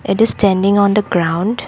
It is standing on the ground.